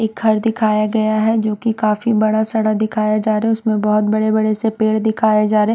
एक घर दिखाया गया है जो की काफी बड़ा सडा दिखाया जा रा है उसमें बहोत बड़े बड़े से पेड़ दिखाई जा रे--